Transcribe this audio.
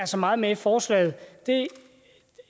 så meget med i forslaget